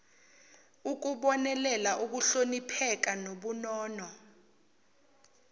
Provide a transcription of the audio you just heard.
ukubonelela ukuhlonipheka nobunono